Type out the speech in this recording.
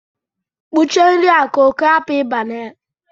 Kpuchie nri a ka oke hapụ ịba na ya